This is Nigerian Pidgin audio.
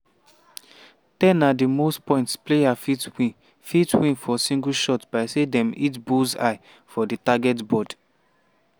10 na di most points player fit win fit win for single shot by say dem hit bullseye for di target board.